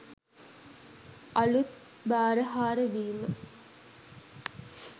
අලුත් භාරහාර වීම